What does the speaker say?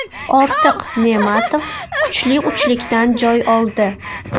Ortiq Ne’matov kuchli uchlikdan joy oldi.